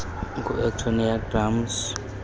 ngu antonio gramsci